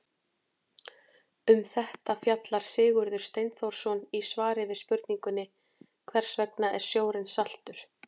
Um þetta fjallar Sigurður Steinþórsson í svari við spurningunni Hvers vegna er sjórinn saltur?